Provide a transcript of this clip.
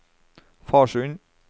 Farsund